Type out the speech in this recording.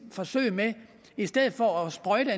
forsøg at man i stedet for at sprøjte